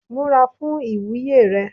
Múra fún ìwúyè rẹ